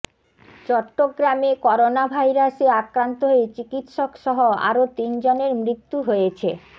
চট্টগ্রামে করোনাভাইরাসে আক্রান্ত হয়ে চিকিৎসকসহ আরও তিনজনের মৃত্যু হয়েছে